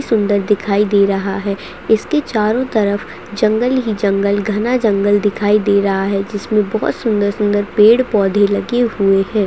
सुंदर दिखाई दे रहा है इसके चारों तरफ जंगल ही जंगल घना जंगल दिखाई दे रहा है जिसमें बहुत सुंदर -सुंदर पेड़ -पौधे लगे हुए है।